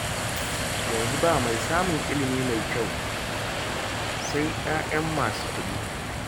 Yanzu ba mai samun ilimi mai kyau sai 'ya'yan masu kuɗi